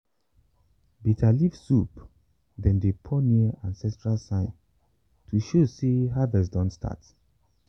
bitter leaf soup dem dey put near ancestral sign to show say harvest don start.